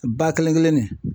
Ba kelen kelen ni.